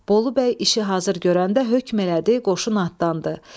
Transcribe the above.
Bolu bəy işi hazır görəndə hökm elədi, qoşun atdandı.